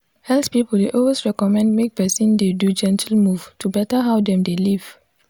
health people dey always recommend make person dey do gentle move to better how dem dey live.